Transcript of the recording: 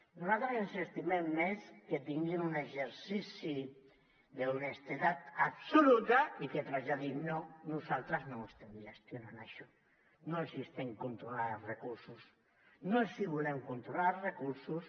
nosaltres ens estimem més que tinguin un exercici d’honestedat absoluta i que traslladin no nosaltres no ho estem gestionant això no els estem controlant els recursos no els volem controlar recursos